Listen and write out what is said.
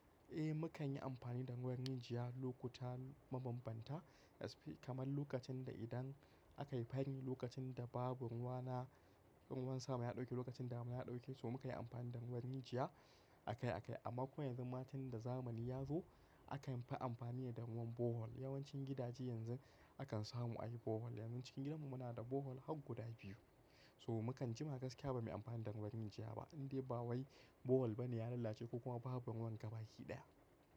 Eh, mu kan yi amfani da ruwan injiya lokuta mabambanta, kamar lokacin da idan aka yi fani lokacin da babur ruwa na, in wansa ma ya ɗauke lokacin da mota ya ɗauke, so mu kayi amfani da ruwan injiya akai akai. Amma kuma yanzu matan da zamani ya zo aka fi amfani da ruwan borehole. Yawancin gidaje yanzu akan samu ayi borehole. Yanzun Cikin gidanmu muna da borehole har guda biyu. So mu kan jima gaskiya ba mu yi amfani da ruwan injiya ba, indai ba wai borehole bane ya lalace ko kuma babu ruwan gaba kiɗaya.